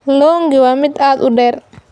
Long'i waa mid aad u dheer.